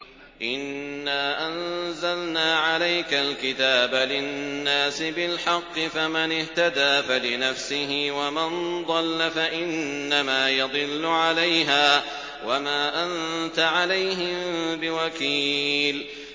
إِنَّا أَنزَلْنَا عَلَيْكَ الْكِتَابَ لِلنَّاسِ بِالْحَقِّ ۖ فَمَنِ اهْتَدَىٰ فَلِنَفْسِهِ ۖ وَمَن ضَلَّ فَإِنَّمَا يَضِلُّ عَلَيْهَا ۖ وَمَا أَنتَ عَلَيْهِم بِوَكِيلٍ